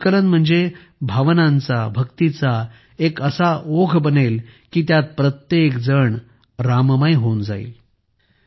हे संकलन म्हणजे भावनांचा भक्तीचा एक असा ओघ बनेल की त्यात प्रत्येकजण राममय होऊन जाईल